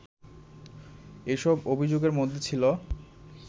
এসব অভিযোগের মধ্যে ছিল